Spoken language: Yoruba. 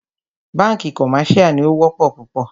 Bánkì commercial ní o wọ́pọ̀ púpọ̀.